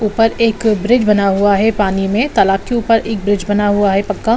ऊपर एक ब्रिज बना हुआ है पानी में तालाब के ऊपर एक ब्रिज बना हुआ है पक्का।